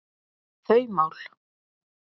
þau mál.